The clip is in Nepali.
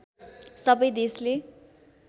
सबै देशले